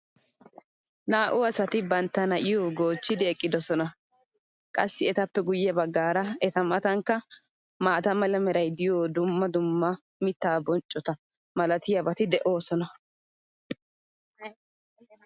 naa'u asati bantta na'iyo goochchidi eqqidosona. qassi etappe guye bagaara eta matankka maata mala meray diyo dumma dumma mitaa bonccota malatiyaabati de'oosona.